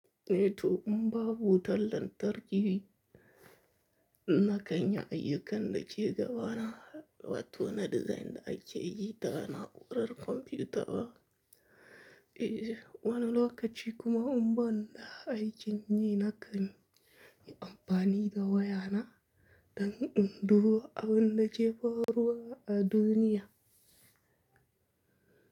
Meetu, in babu tallan tarkiwi, na kan yi ayyukanda ke gaba na watona dizayin da ake yi ta na’urar kwamfiyuta ba. Wani lokaci kuma in ban da aikini na kan yi amfani da wayana dan in duba abunda ke faruwa a duniya.